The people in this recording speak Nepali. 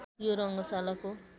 यो रङ्गशालाको